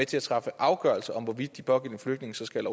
til at træffe afgørelse om hvorvidt de pågældende flygtninge så skal